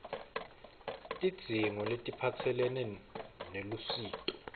tidzingo letiphatselene nelusito